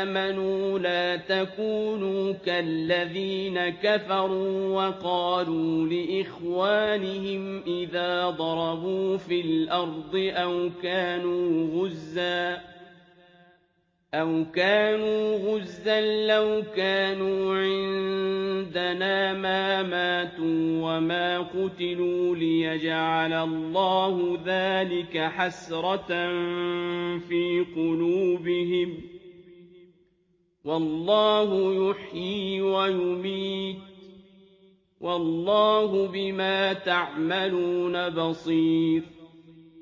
آمَنُوا لَا تَكُونُوا كَالَّذِينَ كَفَرُوا وَقَالُوا لِإِخْوَانِهِمْ إِذَا ضَرَبُوا فِي الْأَرْضِ أَوْ كَانُوا غُزًّى لَّوْ كَانُوا عِندَنَا مَا مَاتُوا وَمَا قُتِلُوا لِيَجْعَلَ اللَّهُ ذَٰلِكَ حَسْرَةً فِي قُلُوبِهِمْ ۗ وَاللَّهُ يُحْيِي وَيُمِيتُ ۗ وَاللَّهُ بِمَا تَعْمَلُونَ بَصِيرٌ